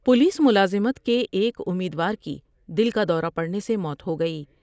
Police ملازمت کے ایک امیدوار کی دل کا دورہ پڑنے سے موت ہوگئی ۔